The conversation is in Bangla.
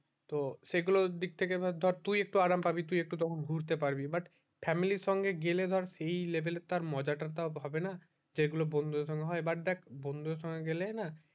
তো সেই গুলো দিক থেকে ধর তুই একটু আরাম পাবি তুই একটু তখন ঘুরতে পাবি but family সঙ্গে গেলে ধর সেই level এ তার মজা টা তো আর হবে না যেই গুলো বন্ধু দের সঙ্গে হয় but দেখ বন্ধু দের সঙ্গে গেলে না